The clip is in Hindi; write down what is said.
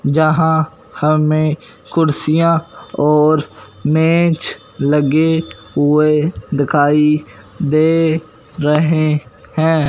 जहां हमें कुर्सियां और मेज लगे हुए दिखाई दे रहे हैं।